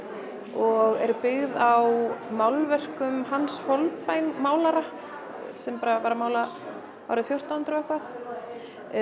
og eru byggð á málverkum Hans málara sem bara var að mála árið fjórtán hundruð og eitthvað